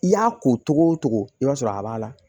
I y'a ko togo o togo i b'a sɔrɔ a b'a la